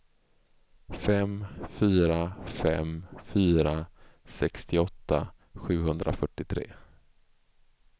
fem fyra fem fyra sextioåtta sjuhundrafyrtiotre